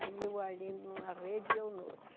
Aí eu ali numa rede e eu em outra.